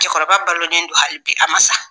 Cɛkɔrɔba balonen don hali bi a ma sa.